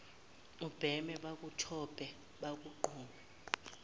ubheme bakutshope bakugqume